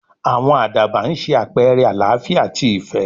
àwọn àdàbà ń sé àpẹrẹ àlááfíà àti ìfẹ́